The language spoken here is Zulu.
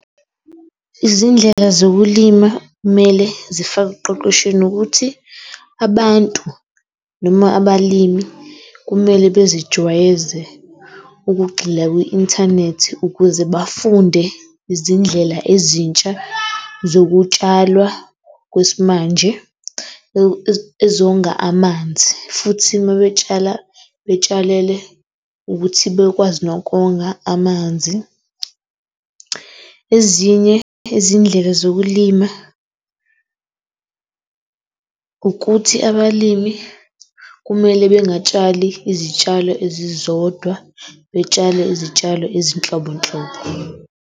Izindlela zokulima kumele zifakwe ekuqeqeshweni ukuthi, abantu noma abalimi kumele bezijwayeze ukugxila kwi-inthanethi, ukuze bafunde izindlela ezintsha zokutshalwa kwesimanje ezonga amanzi, futhi uma betshala betshalele ukuthi bekwazi nokonga amanzi. Ezinye izindlela zokulima ukuthi abalimi kumele bengatshali izitshalo ezizodwa betshale izitshalo ezinhlobonhlobo.